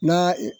N'a ye